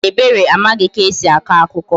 Mba, Ebere amaghị ka e si akọ akụkọ